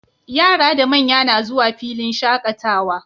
Yara da manya na zuwa filin shaqatawa